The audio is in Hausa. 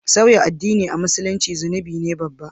sauya addin a Musulunci zunubi ne babba